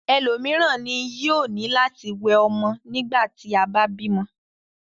Élomiran ni yoo ni lati wẹ ọmọ nigbati aba bímọ